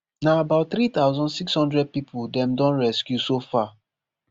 na about three thousand, six hundred pipo dem dom rescue so far